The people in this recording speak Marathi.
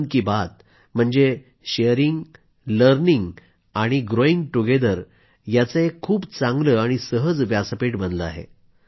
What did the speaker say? मन की बात म्हणजे शेअरींग लर्निंग आणि ग्रोईंग टुगेदर यांचं एक खूप चांगलं आणि सहज व्यासपीठ बनलं आहे